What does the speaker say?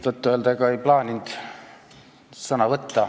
Tõtt-öelda, ega ma ei plaaninud sõna võtta.